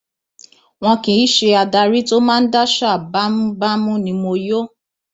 wọn kì í ṣe adarí tó máa ń daṣà bámúbámú ni mo yọ